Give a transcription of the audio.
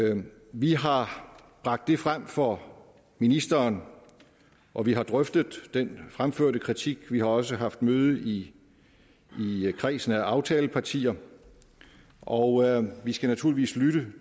vi har bragt det frem for ministeren og vi har drøftet den fremførte kritik vi har også haft møde i kredsen af aftalepartier og vi skal naturligvis lytte